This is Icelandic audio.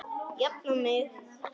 Jafna mig!